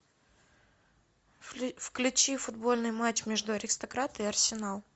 включи футбольный матч между аристократы и арсенал